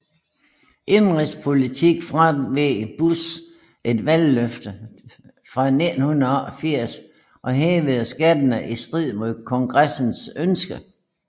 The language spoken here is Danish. Indenrigspolitisk fraveg Bush et valgløfte fra 1988 og hævede skatterne i strid med Kongressens ønske